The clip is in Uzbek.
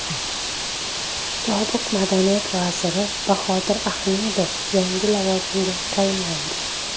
Sobiq madaniyat vaziri Bahodir Ahmedov yangi lavozimga tayinlandi.